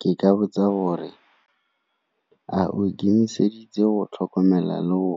Ke ka botsa gore, a o ikemiseditse go tlhokomela le go